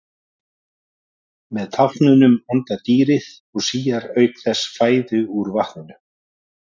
Með tálknunum andar dýrið og síar auk þess fæðu úr vatninu.